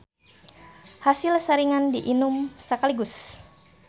Hasilsaringan di inum sakaligus.